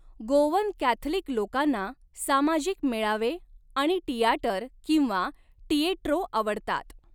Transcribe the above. Goan Catholic लोकांना सामाजिक मेळावे आणि टियाटर किंवा टिएट्रो आवडतात.